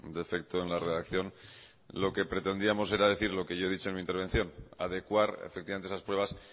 defecto en la redacción lo que pretendíamos era decir lo que yo he dicho en mi intervención adecuar efectivamente esas pruebas